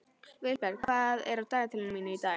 Vilberg, hvað er á dagatalinu mínu í dag?